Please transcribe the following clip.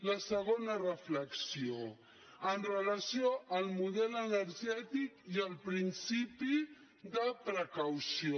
la segona reflexió amb relació al model energètic i amb el principi de precaució